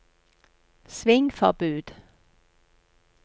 svingforbud